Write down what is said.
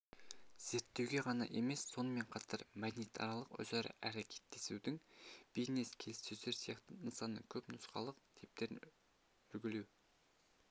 зерттеуге ғана емес сонымен қатар мәдениетаралық өзара әрекеттесудің бизнес-келіссөздер сияқты нысанының көп нұсқалық типтерін үлгілеу